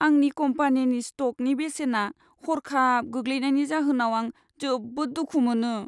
आंनि कम्पानिनि स्ट'कनि बेसेना हर्खाब गोग्लैनायनि जाहोनाव आं जोबोद दुखु मोनो।